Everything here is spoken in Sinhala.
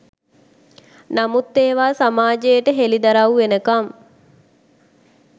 නමුත් ඒවා සමාජයට හෙළිදරවු වෙනකම්